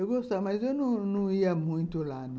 Eu gostava, mas eu não não não ia muito lá, não.